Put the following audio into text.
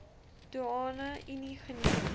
doeane unie geniet